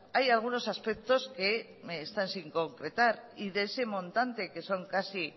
hay algunos aspectos que están sin concretar y de ese montante que son casi